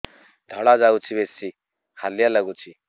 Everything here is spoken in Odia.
ଧଳା ଯାଉଛି ବେଶି ହାଲିଆ ଲାଗୁଚି